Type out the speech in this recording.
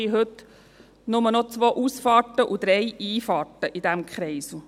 Wir haben heute nur noch zwei Ausfahrten und drei Einfahrten in diesem Kreisel.